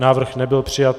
Návrh nebyl přijat.